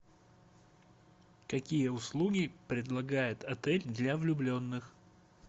какие услуги предлагает отель для влюбленных